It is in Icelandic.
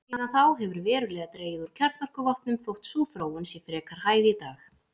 Síðan þá hefur verulega dregið úr kjarnorkuvopnum þótt sú þróun sé frekar hæg í dag.